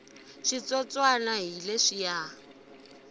switsotswana hi leswiya